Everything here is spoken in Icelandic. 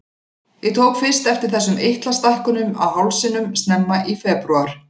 Ég tók fyrst eftir þessum eitlastækkunum á hálsinum snemma í febrúar.